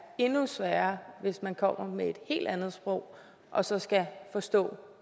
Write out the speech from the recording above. endnu sværere hvis man kommer med et helt andet sprog og så skal forstå